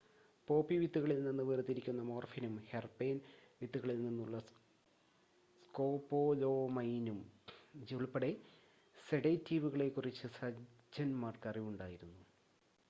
poppy വിത്തുകളിൽ നിന്ന് വേർതിരിക്കുന്ന മോർഫിനും ഹെർബേൻ വിത്തുകളിൽ നിന്നുള്ള സ്കോപൊലാമൈനും ഉൾപ്പെടെ വിവിധ സെഡേറ്റീവുകളെ കുറിച്ച് സർജൻന്മാർക്ക് അറിവുണ്ടായിരുന്നു